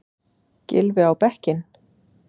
Gylfi á bekkinn?